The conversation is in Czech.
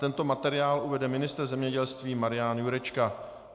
Tento materiál uvede ministr zemědělství Marián Jurečka.